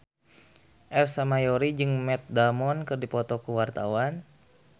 Ersa Mayori jeung Matt Damon keur dipoto ku wartawan